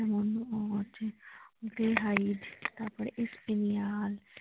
আর আছে Dehaib তারপর Aspaneol ।